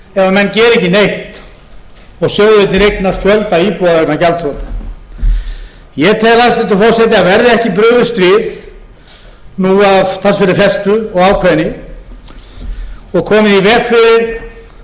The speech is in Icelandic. gera ekki neitt og sjóðirnir eignast fjölda íbúða vegna gjaldþrota ég tel hæstvirtur forseti að verði ekki brugðist við nú af talsverðri festu og ákveðni og komið í veg fyrir